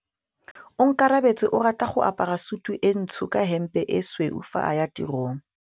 Onkabetse o rata go apara sutu e ntsho ka hempe e tshweu fa a ya tirong.